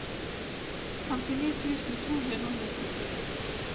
femtini tusen to hundre og nittito